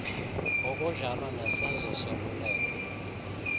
ngokunjalo nesenzo soluleko